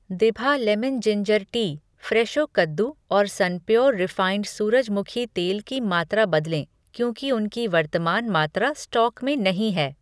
दिभा lemon ginger tea, Fresho कद्दू और सनप्योर रिफ़ाइन्ड सूरजमुखी तेल की मात्रा बदलें क्योंकि उनकी वर्तमान मात्रा स्टॉक में नहीं है।